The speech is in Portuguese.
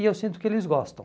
E eu sinto que eles gostam.